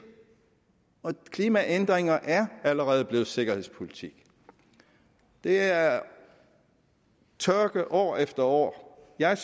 og klimaændringer er allerede blevet sikkerhedspolitik det er tørke år efter år jeg